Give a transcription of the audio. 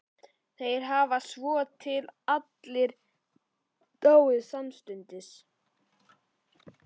Þeir hafa svotil allir dáið samstundis.